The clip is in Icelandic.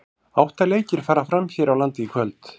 Átta leikir fara fram hér á landi í kvöld.